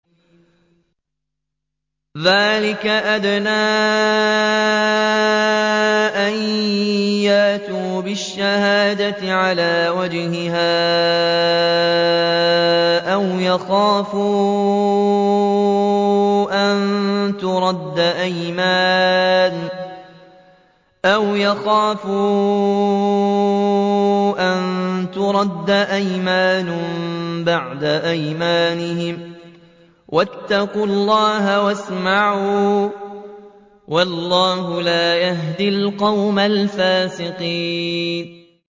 ذَٰلِكَ أَدْنَىٰ أَن يَأْتُوا بِالشَّهَادَةِ عَلَىٰ وَجْهِهَا أَوْ يَخَافُوا أَن تُرَدَّ أَيْمَانٌ بَعْدَ أَيْمَانِهِمْ ۗ وَاتَّقُوا اللَّهَ وَاسْمَعُوا ۗ وَاللَّهُ لَا يَهْدِي الْقَوْمَ الْفَاسِقِينَ